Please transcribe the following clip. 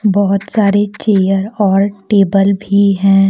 बहोत सारे चेयर और टेबल भी हैं।